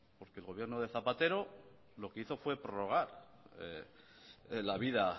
porque el gobierno de zapatero lo que hizo fue prorrogar la vida